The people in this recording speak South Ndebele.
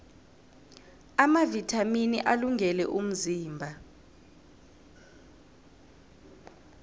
amavithamini alungele umzimba